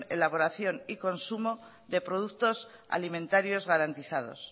elaboración y consumo de productos alimentarios garantizados